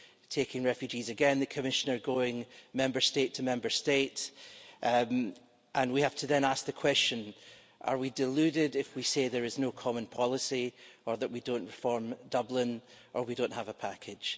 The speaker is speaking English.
taking refugees, again the Commissioner going Member State to Member State, and we have to then ask the question are we deluded if we say there is no common policy or that we don't reform Dublin or we don't have a package?